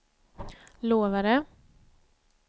lovade